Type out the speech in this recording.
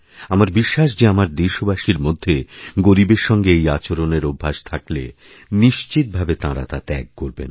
আমার বিশ্বাস যেআমার দেশবাসীর মধ্যে গরীবের সঙ্গে এই আচরণের অভ্যাস থাকলে নিশ্চিতভাবে তাঁরা তাত্যাগ করবেন